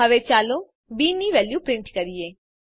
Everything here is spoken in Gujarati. હવે ચાલો બી ની વેલ્યુ પ્રિન્ટ કરીએ